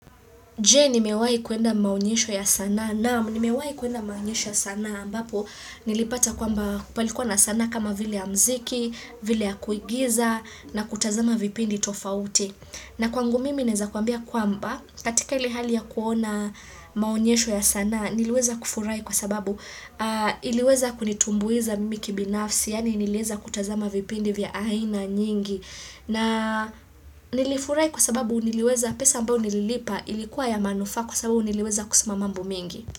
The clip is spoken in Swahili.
Jei nimewai kuenda maonyesho ya sana. Naamu ni mewai kuenda maonyesho ya sana ambapo nilipata kwamba palikuwa na sana kama vile ya mziki, vile ya kuigiza na kutazama vipindi tofauti. Na kwangu mimi neza kuambia kwamba katika ili hali ya kuona maonyesho ya sana niliweza kufurai kwa sababu iliweza kunitumbuiza mimi kibinafsi yani niliweza kutazama vipindi vya aina nyingi na nilifurai kwa sababu niliweza pesa ambao nililipa ilikuwa ya manufa kwa sababu niliweza kusimamambo mingi.